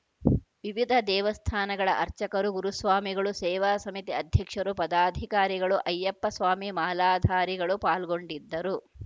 ವಿವಿಧ ದೇವಸ್ಥಾನಗಳ ಅರ್ಚಕರು ಗುರುಸ್ವಾಮಿಗಳು ಸೇವಾ ಸಮಿತಿ ಅಧ್ಯಕ್ಷರು ಪದಾಧಿಕಾರಿಗಳು ಅಯ್ಯಪ್ಪ ಸ್ವಾಮಿ ಮಾಲಾಧಾರಿಗಳು ಪಾಲ್ಗೊಂಡಿದ್ದರು